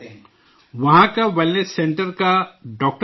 وہاں کا wellness centre کا ڈاکٹر بتاتا ہے